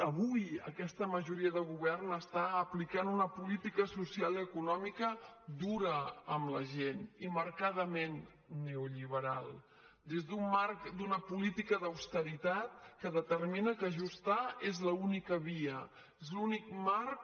avui aquesta majoria de govern està aplicant una política social i econòmica dura amb la gent i marcadament neoliberal des d’un marc d’una política d’austeritat que determina que ajustar és l’única via és l’únic marc